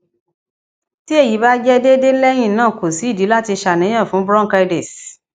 ti eyi ba jẹ deede lẹhinna ko si idi lati ṣàníyàn fun bronchitis